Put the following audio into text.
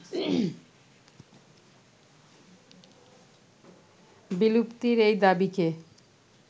বিলূ্প্তির এই দাবিকে